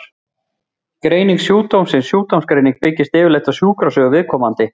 Greining sjúkdómsins Sjúkdómsgreiningin byggist yfirleitt á sjúkrasögu viðkomandi.